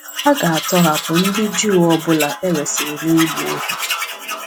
A ga-atọhapụ ndị Juu ọ bụla e resịrị na ịgba ohu.